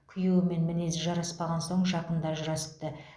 күйеуімен мінезі жараспаған соң жақында ажырасыпты